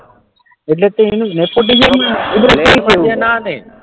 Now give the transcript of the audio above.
એટલે કે એની